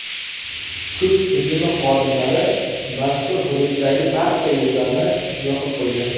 Kuch tizimi xodimlari mazkur hududdagi barcha yo‘llarni yopib qo‘ydi.